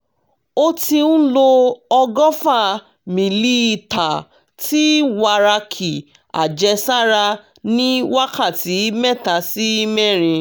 ó ti ń lo ọgọ́fà mílíítà ti wàràkì àjẹsára ní wákàtí mẹ́ta sí mẹ́rin